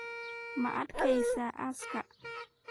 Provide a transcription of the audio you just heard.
Ma adeeysa aaska?